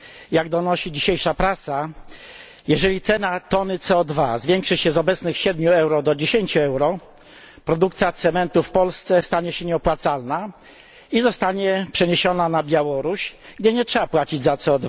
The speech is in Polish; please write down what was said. Jak donosi dzisiejsza prasa, jeżeli cena tony CO zwiększy się z obecnych 7 euro do 10 euro, produkcja cementu w Polsce stanie się nieopłacalna i zostanie przeniesiona na Białoruś, gdzie nie trzeba płacić za CO